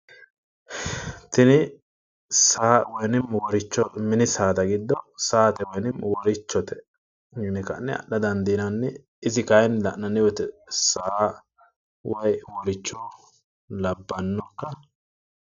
Tini saa woyi woricho mini saada giddo saate woyinim worichote yine ka'ne adha dandiinanni. isi kaayiinni la'nanni wooyiite saa woyi woricho labbannokka?